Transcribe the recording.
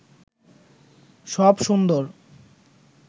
সব সুন্দর